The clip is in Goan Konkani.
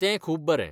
तें खूब बरें.